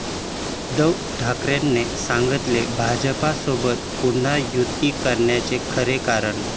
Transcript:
उद्धव ठाकरेंनी सांगितलं भाजपसोबत पुन्हा युती करण्यामागचं खरं कारण!